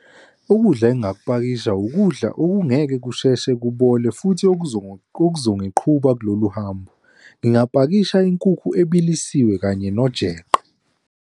Ukudla engingakupakisha ukudla okungeke kusheshe kubole futhi okuzongiqhuba kulolu hambo. Ngingapakisha inkukhu ebilisiwe kanye nojeqe.